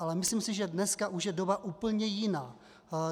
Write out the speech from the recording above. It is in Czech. Ale myslím si, že dneska už je doba úplně jiná.